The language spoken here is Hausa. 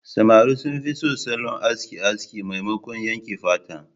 Samari sun fi son salon aski aski maimakon yanke fata.